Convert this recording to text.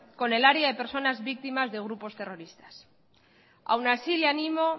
con el área de personas víctimas de grupo terroristas aun así le ánimo